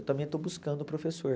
Eu também estou buscando o professor.